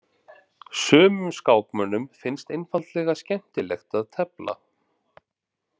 Sumum skákmönnum finnst einfaldlega skemmtilegt að tefla.